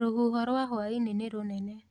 Rũhuho rwa hwainĩ nĩ rũnene